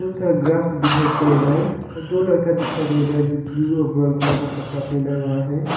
सारा ग्रास भी दिखाई पड़ रहा है और दो लड़का दिखाई दे रहा है जो ब्लू और ब्राऊन कलर का कपड़ा पहना हुआ है।